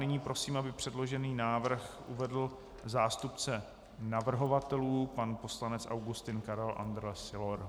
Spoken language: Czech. Nyní prosím, aby předložený návrh uvedl zástupce navrhovatelů pan poslanec Augustin Karel Andrle Sylor.